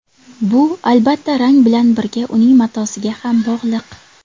Bu, albatta, rang bilan birga uning matosiga ham bog‘liq.